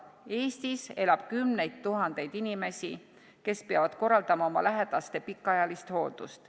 Eestis elab kümneid tuhandeid inimesi, kes peavad korraldama oma lähedaste pikaajalist hooldust.